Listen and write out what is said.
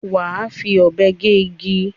Wà á fi abe gé igi.